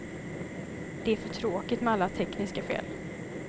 Det är för tråkigt med alla tekniska fel.